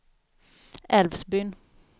Älvsbyn